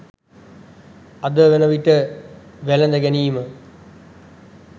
අද වන විට වැළඳ ගැනීම